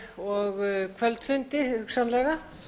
og kvöldfundi hugsanlega